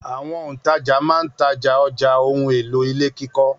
Àwọn òǹtajà máa ń Taj ní ọjà ohun-èlò ilé kíkọ́.